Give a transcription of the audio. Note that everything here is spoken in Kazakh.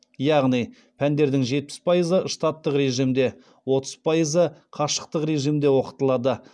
яғни пәндердің жетпіс пайызы штаттық режимде отыз пайызы қашықтық режимде оқытылады